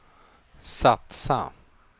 satsa